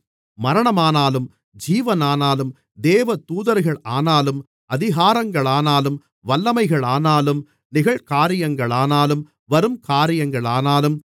மரணமானாலும் ஜீவனானாலும் தேவதூதர்களானாலும் அதிகாரங்களானாலும் வல்லமைகளானாலும் நிகழ்காரியங்களானாலும் வரும்காரியங்களானாலும்